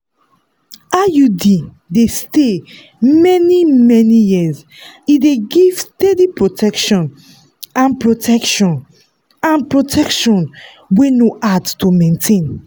iud dey stay many-many years e dey give steady protection and protection and protection wey no hard to maintain.